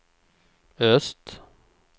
öst